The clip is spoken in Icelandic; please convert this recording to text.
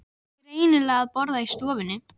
Þau áttu greinilega að borða í stofunni.